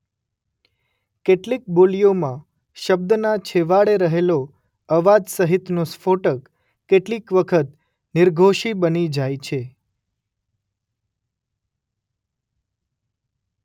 કેટલીક બોલીઓમાં શબ્દના છેવાડે રહેલો અવાજ સહિતનો સ્ફોટક કેટલીક વખત નિર્ઘોષી બની જાય છે.